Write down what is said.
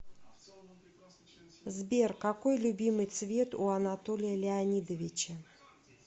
сбер какой любимый цвет у анатолия леонидовича